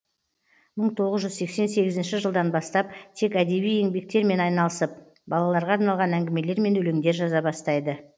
мың тоғыз жүз сексен сегізінші жылдан бастап тек әдеби еңбектермен айналысып балаларға арналған әңгімелер мен өлеңдер жаза бастайды